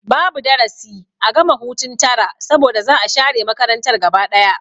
Babu darasi a gama hutun tara saboda za'a share makarantar gaba ɗaya